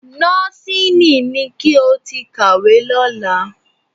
Nọ́ọ́sìnì ni kí o ti kàwé lọ́la